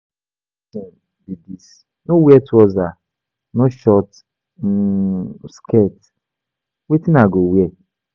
Which kin thing be dis, no wear trouser, no short um skirt, wetin I go wear?